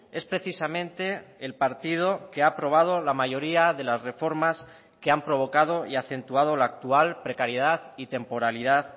es precisamente el partido que ha aprobado la mayoría de las reformas que han provocado y acentuado la actual precariedad y temporalidad